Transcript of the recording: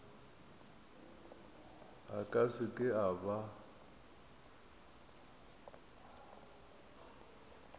a ka seke a ba